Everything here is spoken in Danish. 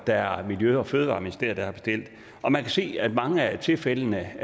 er miljø og fødevareministeriet der har bestilt og man kan se at det i mange af tilfældene